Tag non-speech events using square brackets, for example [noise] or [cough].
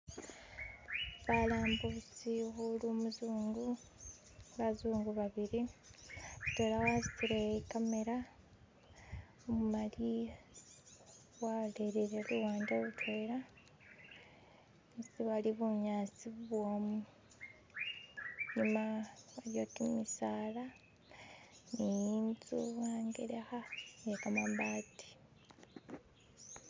"[skip]" balambusi muli umuzungu bazungu babili mutwela wasutile ikamera imali walolele luwande lutwela isi bali bunyasi bubwomu lola aliwo kimisaala ni inzu angelekha iyekamabati "[skip]".